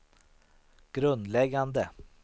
grundläggande